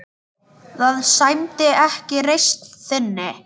Það sæmdi ekki reisn þinni.